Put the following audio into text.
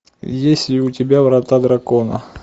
есть ли у тебя врата дракона